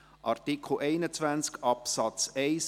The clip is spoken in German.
Zu Artikel 21 Absatz 1